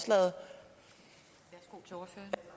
så